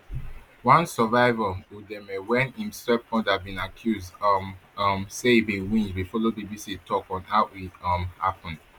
one survivor udeme wey im stepmother bin accuse um um say e bin winch bin follow bbc tok on how e um happun